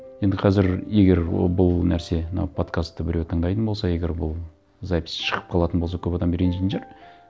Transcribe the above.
енді қазір егер бұл нәрсе мына подкастты біреу тыңдайтын болса егер бұл запись шығып қалатын болса көп адам ренжитін шығар